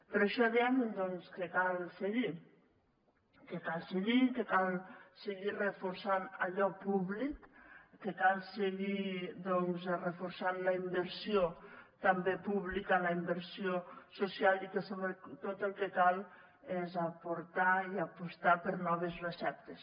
per això dèiem doncs que cal seguir que cal seguir i que cal seguir reforçant allò públic que cal seguir reforçant la inversió també pública la inversió social i que sobretot el que cal és aportar i apostar per noves receptes